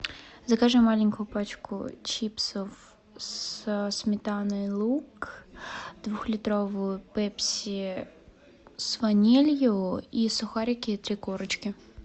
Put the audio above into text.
закажи маленькую пачку чипсов со сметаной лук двухлитровую пепси с ванилью и сухарики три корочки